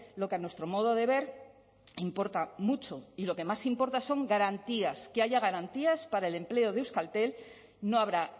lo que a nuestro modo de ver importa mucho y lo que más importa son garantías que haya garantías para el empleo de euskaltel no habrá